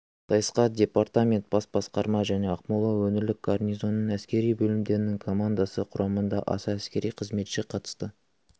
сайысқа департамент бас басқарма және ақмола өңірлік гарнизоны әскери бөлімдерінің командасы құрамында аса әскери қызметші қатысты